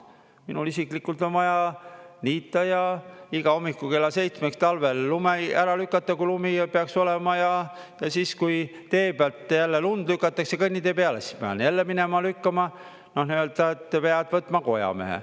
Minul isiklikult on vaja niita ja iga hommiku kella seitsmeks talvel lumi ära lükata, kui lumi peaks olema, ja siis, kui tee pealt jälle lund lükatakse kõnnitee peale, siis pean jälle minema lükkama, et pead võtma kojamehe.